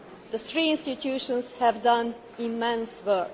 The three institutions have done immense work.